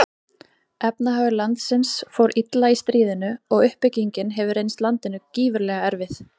Efnahagur landsins fór illa í stríðinu og uppbyggingin hefur reynst landinu gífurlega erfið.